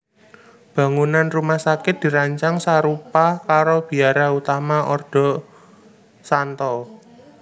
Bangunan rumah sakit dirancang sarupa karo biara utama ordo St